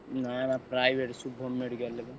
ନା ନା private Shubhram medical ରେ ବା।